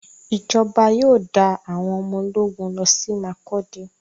Ìjọba yóò dá àwọn ọmọ ológun lọsí Makurdi.